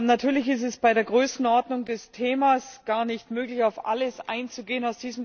Natürlich ist es bei der Größenordnung des Themas gar nicht möglich, auf alles einzugehen.